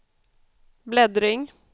bläddring